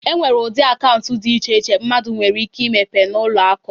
E nwere ụdị akaụntụ dị iche iche mmadụ nwere ike imepe n'ụlọ akụ.